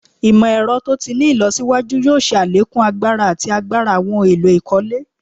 Imọ-ẹrọ to ti ni ilọsiwaju yoo ṣe alekun agbara ati agbara awọn ohun elo ikole